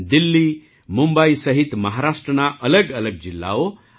દિલ્લી મુંબઈ સહિત મહારાષ્ટ્રના અલગઅલગ જિલ્લાઓ અને